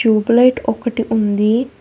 Tube light ఒకటి ఉందీ.